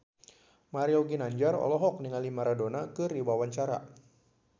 Mario Ginanjar olohok ningali Maradona keur diwawancara